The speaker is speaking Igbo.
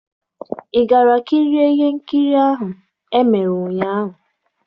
Ị gara kirie ihe nkiri ahụ ahụ e mere ụnyaahụ?